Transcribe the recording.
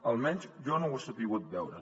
almenys jo no ho he sabut veure